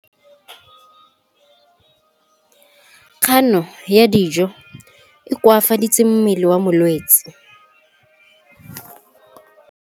Kganô ya go ja dijo e koafaditse mmele wa molwetse.